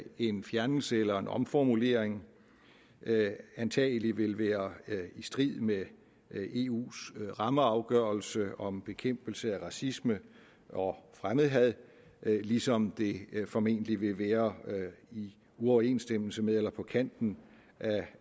en fjernelse eller en omformulering antagelig vil være i strid med eus rammeafgørelse om bekæmpelse af racisme og fremmedhad ligesom det formentlig vil være i uoverensstemmelse med eller på kanten